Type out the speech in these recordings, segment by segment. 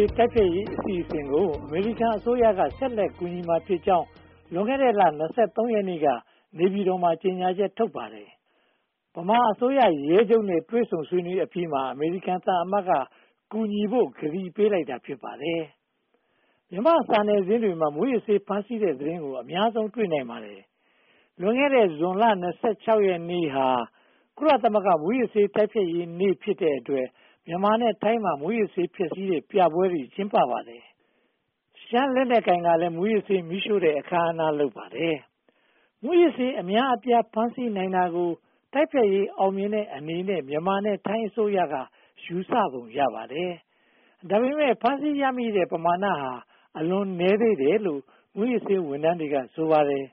ေး တိုက်ဖျက်ရေး အစီအစဉ်ကို အမေရိကန်အစိုးရက ဆက်လက်ကူညီမှာဖြစ်ကြောင်း လွန်ခဲ့တဲ့လ (၂၃) ရက်နေ့က နေပြည်တော်မှာ ကြေညာချက် ထုတ်ပါတယ်။ မြန်မာအစိုးရရဲချုပ်နဲ့ တွေ့ဆုံဆွေးနွေးအပြီးမှာ အမေရိကန်သံအမတ်က ကူညီဖို့ ကတိပေးလိုက်တာ ဖြစ်ပါတယ်။ မြန်မာ့စာနယ်ဇင်းတွေမှာ မူးယစ်ဆေး ဖမ်းဆီးတဲ့သတင်းကို အများဆုံး တွေ့နိုင်ပါတယ်။ လွန်ခဲ့တဲ့ ဇွန်လ (၂၆) ရက်နေ့ဟာ ကုလသမဂ္ဂ မူးယစ်ဆေး တိုက်ဖျက်ရေးနေ့ဖြစ်တဲ့အတွက် မြန်မာနဲ့ထိုင်းမှာ မူးယစ်ဆေး ဖျက်ဆီးတဲ့ပြပွဲတွေ ကျင်းပပါတယ်။ ရှမ်းလက်နက်ကိုင်ကလည်း မူးယစ်ဆေး မီးရှို့တဲ့ အခမ်းအနားလုပ်ပါတယ်။ မူးယစ်ဆေး အများအပြား ဖမ်းဆီးနိုင်တာကို တိုက်ဖျက်ရေး အောင်မြင်တဲ့အနေနဲ့ မြန်မာနဲ့ထိုင်းအစိုးရက ယူဆပုံရပါတယ်။ ဒါပေမဲ့ ဖမ်းဆီးရမိတဲ့ ပမာဏဟာ အလွန်နည်းသေးတယ်လို့ မူးယစ်ဆေးဝန်ထမ်းတွေက ဆိုပါတယ်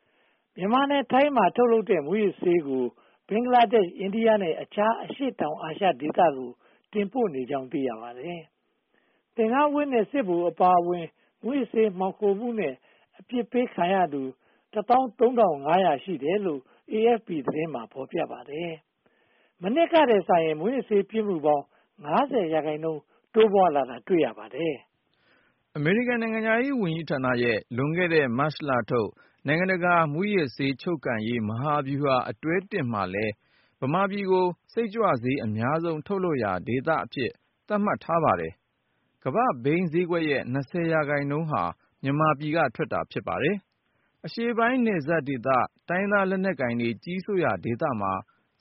။ မြန်မာနဲ့ထိုင်းမှာ ထုတ်လုပ်တဲ့ မူးယစ်ဆေးကို ဘင်္ဂလားဒေ့ရှ်၊ အိန္ဒိယ နဲ့ အခြားအရှေ့တောင်အာရှဒေသကို တင်ပို့နေကြောင်း သိရပါတယ်။ သင်္ကန်းဝတ်နဲ့ စစ်ဗိုလ်အပါအဝင် မူးယစ်ဆေး မှောင်ခိုမှုနဲ့ အပြစ်ပေးခံရသူ (၁၃၅၀၀) ရှိတယ်လို့ AFP သတင်းမှာ ဖော်ပြပါတယ်။ မနှစ်ကထက်စာရင် မူးယစ်ဆေး ပြစ်မှုပေါင်း (၅၀) ရာခိုင်နှုန်း တိုးပွားလာတာ တွေ့ရပါတယ်။ အမေရိကန်နိုင်ငံခြားရေးဌာနရဲ့ လွန်ခဲ့တဲ့ မတ်လထုတ် “နိုင်ငံတကာ မူးယစ်ဆေး ချုပ်ကိုင်ရေး မဟာဗျူဟာ” အတွဲ (၁) မှာလည်း ဗမာပြည်ကို စိတ်ကြွဆေး အများဆုံး ထုတ်လုပ်ရာဒေသအဖြစ် သတ်မှတ်ထားပါတယ်။ ကမ္ဘာ့ဘိန်းဈေးကွက်ရဲ့ (၂၀) ရာခိုင်နှုန်းဟာ မြန်မာပြည်ကထွက်တာ ဖြစ်ပါတယ်။ အရှေ့ပိုင်းနယ်စပ်ဒေသ တိုင်းရင်းသား လက်နက်ကိုင်တွေ ကြီးစိုးရာဒေသမှာ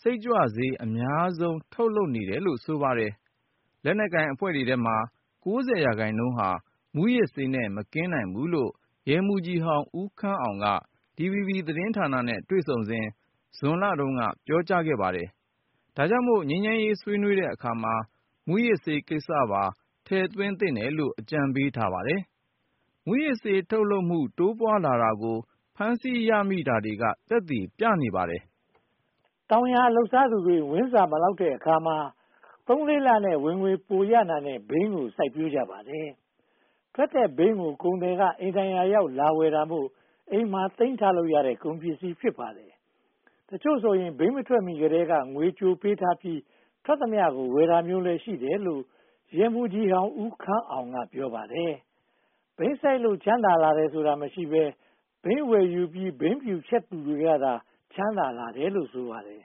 စိတ်ကြွဆေး အများဆုံး ထုတ်လုပ်တယ်လို့ ဆိုပါတယ်။ လက်နက်ကိုင်အဖွဲ့တွေထဲမှာ (၉၀) ရာခိုင်နှုန်းဟာ မူးယစ်ဆေးနဲ့ မကင်းနိုင်ဘူးလို့ ရဲမှူးကြီးဟောင်း ဦးခမ်းအောင် က DVB သတင်းဌာနနဲ့ တွေ့ဆုံစဉ် ဇွန်လက ပြောသွားပါတယ်။ ဒါကြောင့်မို့ ငြိမ်းချမ်းရေးဆွေးနွေးတဲ့အခါမှာ မူးယစ်ဆေးကိစ္စပါ ထည့်သွင်းသင့်တယ်လို့ အကြံပေးထားပါတယ်။ မူးယစ်ဆေး ထုတ်လုပ်မှု တိုးပွားလာတာကို ဖမ်းဆီးရမိတာတွေက သက်သေပြပါတယ်။ တောင်ယာလုပ်စားသူတွေ ဝမ်းစာမလောက်တဲ့အခါမှာ သုံး-လေးလနဲ့ ဝင်ငွေပိုရနိုင်တဲ့ ဘိန်းကို စိုက်ပျိုးကြပါတယ်။ ထွက်တဲ့ဘိန်းကို ကုန်သည်တွေက အိမ်တိုင်ယာရောက် လာဝယ်တာမို့ အိမ်မှာသိမ်းထားလို့ရတဲ့ ကုန်ပစ္စည်း ဖြစ်ပါတယ်။ တချို့ဆိုရင် ဘိန်းမထွက်မီကတည်းက ငွေကြိုပေးထားပြီး ထွက်သမျှကို ဝယ်တာမျိုးလည်း ရှိတယ်လို့ ရဲမှူးကြီးဟောင်း ဦးခမ်းအောင်က ပြောပါတယ်။ ဘိန်းစိုက်လို့ ချမ်းသာလာတာ မရှိဘဲ၊ ဘိန်းဝယ်ယူပြီး ဘိန်းဖြူချက်သူတွေကသာ ချမ်းသာကြတယ်လို့ ဆိုပါတယ်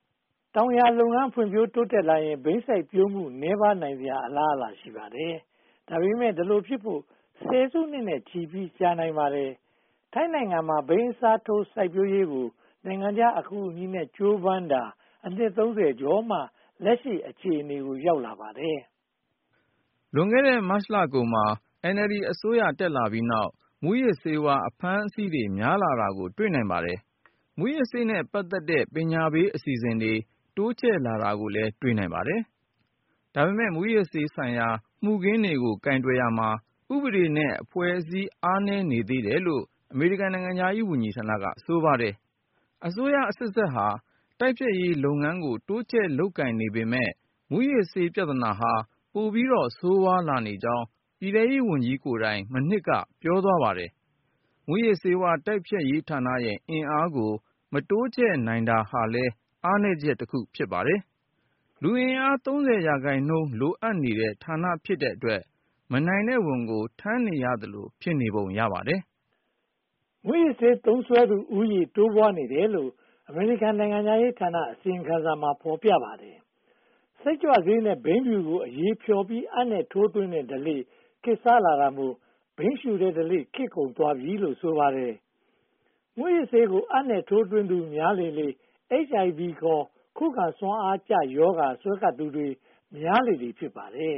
။ တောင်ယာလုပ်ငန်း ဖွံ့ဖြိုးတိုးတက်လာရင် ဘိန်းစိုက်ပျိုးမှု နည်းပါးနိုင်စရာ အလားအလာ ရှိပါတယ်။ ဒါပေမဲ့ ဒီလိုဖြစ်လို့ ဆယ်စုနှစ်နဲ့ချီပြီး ကြာနိုင်ပါတယ်။ ထိုင်းနိုင်ငံမှာ ဘိန်းအစားထိုး စိုက်ပျိုးရေးကို နိုင်ငံခြားအကူအညီနဲ့ ကြိုးပမ်းတာ အနှစ် (၃၀) ကျော်မှ လက်ရှိ အခြေအနေ ရောက်လာပါတယ်။ လွန်ခဲ့တဲ့နှစ် မတ်လကုန်မှာ NLD အစိုးရ တက်လာပြီးတဲ့နောက် မူးယစ်ဆေးဝါး အဖမ်းအဆီးတွေ များလာတာကို တွေ့နိုင်ပါတယ်။ မူးယစ်ဆေးနဲ့ ပတ်သက်တဲ့ ပညာပေးအစီအစဉ်တွေ တိုးချဲ့လာတာကိုလည်း တွေ့နိုင်ပါတယ်။ ဒါပေမဲ့ မူးယစ်ဆေးဆိုင်ရာ မူခင်းတွေကို ကိုင်တွယ်ရာမှာ ဥပဒေနဲ့အဖွဲ့အစည်း အားနည်းနေသေးတယ်လို့ အမေရိကန် နိုင်ငံခြားရေးဌာနက ဆိုပါတယ်။ အစိုးရအဆက်ဆက်ဟာ တိုက်ဖျက်ရေးလုပ်ငန်းကို တိုးချဲ့လုပ်ကိုင်နေပေမယ့် မူးယစ်ဆေးပြဿနာဟာ ပိုပြီးတော့ ဆိုးဝါးလာကြောင်း ပြည်ထဲရေးဝန်ကြီးကိုယ်တိုင် မနှစ်က ပြောသွားပါတယ်။ မူးယစ်ဆေးဝါး တိုက်ဖျက်ရေးဌာနရဲ့ အင်အားကို မတိုးချဲ့နိုင်တာဟာလည်း အားနည်းချက်တခု ဖြစ်ပါတယ်။ လူအင်အား (၃၀) ရာခိုင်နှုန်း လိုအပ်နေတဲ့ ဌာနဖြစ်တဲ့အတွက် မနိုင်တဲ့ဝန်ကို ထမ်းနေရသလို ဖြစ်နေပုံရပါတယ်။ မူးယစ်ဆေးသုံးစွဲသူဦးရေ တိုးပွားနေတယ်လို့ အမေရိကန် နိုင်ငံခြားရေးဌာန အစီရင်ခံစာမှာ ဖော်ပြပါတယ်။ စိတ်ကြွဆေးနဲ့ ဘိန်းဖြူကို အရည်ဖျော်ပြီး အပ်နဲ့ထိုးသွင်းတဲ့ ဓလေ့ ခေတ်စားလာတာမို့ ဘိန်းရှုတဲ့ဓလေ့ ခေတ်ကုန်သွားပြီလို့ ဆိုပါတယ်။ မူးယစ်ဆေးကို အပ်နဲ့ထိုးသွင်းသူတွေများလေလေ HIV ခေါ် ခုခံစွမ်းအားကျရောဂါ စွဲကပ်သူတွေများလေလေ ဖြစ်နေပါတယ်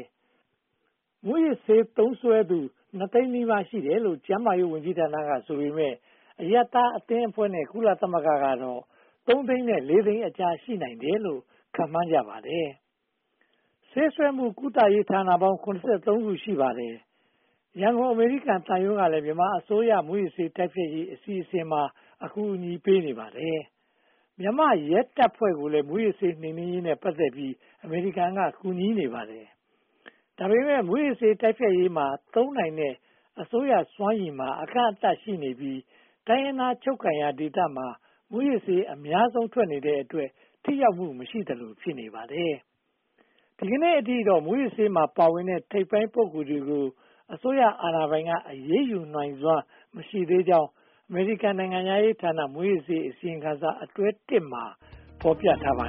။ မူးယစ်ဆေးသုံးစွဲသူ နှစ်သိန်းနီးပါး ရှိတယ်လို့ ကျန်းမာရေးဝန်ကြီးဌာနက ဆိုပေမယ့် အရပ်သားအသင်းအဖွဲ့နဲ့ ကုလသမဂ္ဂကတော့ သုံးသိန်းနဲ့ လေးသိန်းအကြား ရှိနိုင်တယ်လို့ ခန့်မှန်းကြပါတယ်။ ဆေးစွဲမှုကုသရေးဌာနပေါင်း (၇၃) ခု ရှိပါတယ်။ ရန်ကုန် အမေရိကန်သံရုံးကလည်း မြန်မာအစိုးရ မူးယစ်ဆေး တိုက်ဖျက်ရေး အစီအစဉ်တွေမှာ အကူအညီပေးနေပါတယ်။ မြန်မာ့ရဲတပ်ဖွဲ့ကိုလည်း မူးယစ်ဆေး နှိမ်နှင်းရေးနဲ့ ပတ်သက်ပြီး အမေရိကန်က ကူညီနေပါတယ်။ ဒါပေမဲ့ မူးယစ်ဆေးတိုက်ဖျက်ရေးမှာ သုံးနိုင်တဲ့ အစိုးရစွမ်းရည်မှာ အကန့်အသတ်ရှိနေပြီး တိုင်းရင်းသား ချုပ်ကိုင်ရာဒေသမှာ မူးယစ်ဆေးအထွက်များနေတဲ့အတွက် ထိရောက်မှု မရှိသလို ဖြစ်နေပါတယ်။ ဒီကနေ့အထိတော့ မူးယစ်ဆေးမှာ ပါဝင်နေတဲ့ ထိပ်ပိုင်း ပုဂ္ဂိုလ်တွေကို အစိုးရအာဏာပိုင်က အရေးယူနိုင်စွမ်း မရှိသေးကြောင်း အမေရိကန်နိုင်ငံခြားရေးဌာန မူးယစ်ဆေးအစီရင်ခံစာ အတွဲ (၁) မှာ ဖော်ပြထားပါ